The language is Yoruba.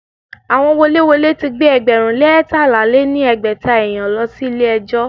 Àwọn woléwolé ti gbé ẹgbẹ̀rún lé eétalá lé ní ẹgbẹ́ta èèyàn lọ sí ilé ẹjọ́.